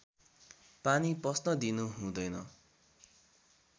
पानी पस्न दिनु हुँदैन